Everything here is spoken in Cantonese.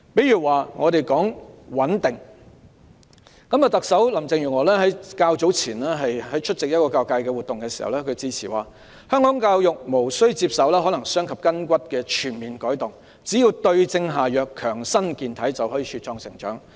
以穩定為例，特首林鄭月娥較早前出席一個教育界活動致辭時指出，香港教育無須接受可能傷及筋骨的全面改動，只要對症下藥，強身健體，就可茁壯成長。